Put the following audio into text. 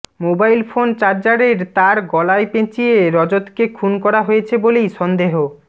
mobile phone চার্জারের তার গলায় পেঁচিয়ে রজতকে খুন করা হয়েছে বলেই সন্দেহ